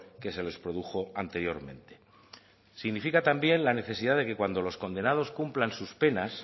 que se les produjo anteriormente significa también la necesidad de que cuando los condenados cumplan sus penas